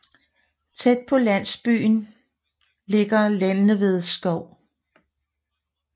Tæt på landsyben ligger Lindeved Skov